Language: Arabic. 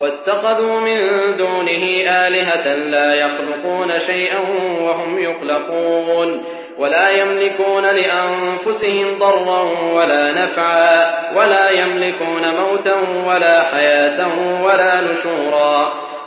وَاتَّخَذُوا مِن دُونِهِ آلِهَةً لَّا يَخْلُقُونَ شَيْئًا وَهُمْ يُخْلَقُونَ وَلَا يَمْلِكُونَ لِأَنفُسِهِمْ ضَرًّا وَلَا نَفْعًا وَلَا يَمْلِكُونَ مَوْتًا وَلَا حَيَاةً وَلَا نُشُورًا